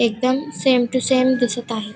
एकदम same to same दिसत आहे.